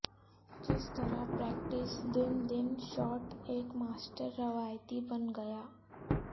کس طرح پریکٹس دن دن شاٹ ایک ماسٹر روایتی بن گیا